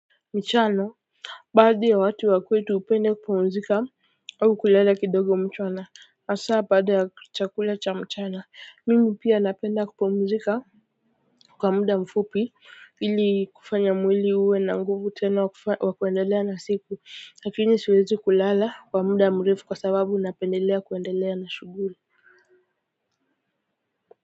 Michano baadhi ya watu wa kwetu hupenda kupumzika au kulala kidogo mchana hasaa baada ya chakula cha mchana mimi pia napenda kupumzika kwa muda mfupi ili kufanya mwili uwe na nguvu tena wa kuendelea na siku lakini siwezi kulala kwa muda mrefu kwa sababu napendelea kuendelea na shughuli.